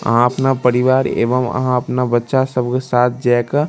आहां अपना परिवार एवं आहां अपना बच्चा सब के साथ जे के --